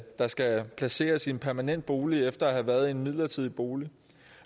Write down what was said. der skal placeres i en permanent bolig efter at have været i en midlertidig bolig